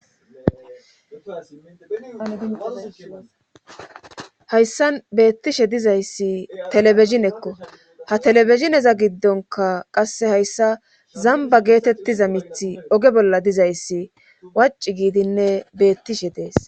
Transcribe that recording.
Ahayssan beettishe dizayssi telebezinekko ha telebezineza giddonka qasse hayssa zamba geetettiza mithi oge bolla dizayssi waci giidinne beettishe dees.